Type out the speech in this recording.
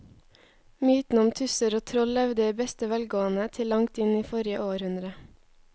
Mytene om tusser og troll levde i beste velgående til langt inn i forrige århundre.